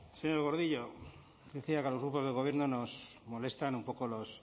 señor gordillo decía que a los grupos del gobierno nos molestan un poco los